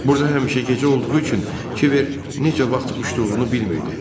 Burda həmişə gecə olduğu üçün kiber necə vaxt uçduğunu bilmirdi.